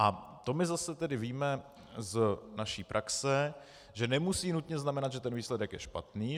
A to my zase tedy víme z naší praxe, že nemusí nutně znamenat, že ten výsledek je špatný.